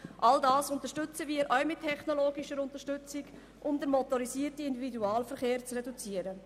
All das befürworten wir auch mit technologischer Unterstützung, um den motorisierten Individualverkehr zu reduzieren.